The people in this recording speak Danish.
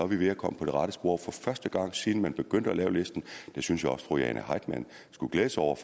vi ved at komme på rette spor for første gang siden man begyndte at lave listen det synes jeg også fru jane heitmann skulle glæde sig over